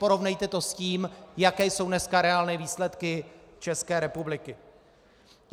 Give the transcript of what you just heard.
Porovnejte to s tím, jaké jsou dneska reálné výsledky České republiky.